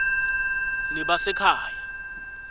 nebasekhaya